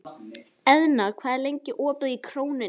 Eðna, hvað er lengi opið í Krónunni?